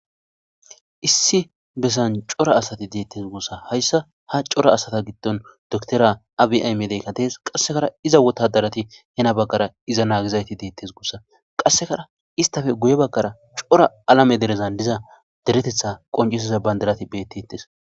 Issi bessan cora asati deettes gussa hayssa ha cora asata gitton doktora abiaymedeykkadees qassekara iza wotadarati hena baggara iza naagizayti deettes gussa qassekara istafe guye bagkara cora alame derezan diza deretetha qoncisiza bandirati beetti ittes.